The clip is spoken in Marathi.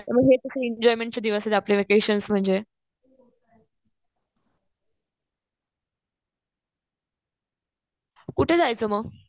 मग हे कसं एन्जॉयमेंटचे दिवस आहे आपले व्हॅकेशन्स म्हणजे. कुठे जायचं मग?